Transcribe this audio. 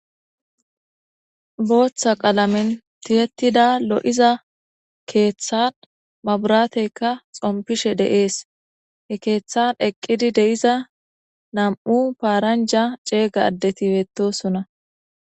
Botha qalamen tiyetida lo'iza ketha mabrateka dhompishe de'es he katan eqidi de'iza nam'u paranja c'ega adeti betosona.